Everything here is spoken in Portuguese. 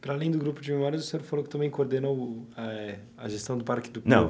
Para além do Grupo de Memórias, o senhor falou que também coordenou a gestão do Parque do Povo. Não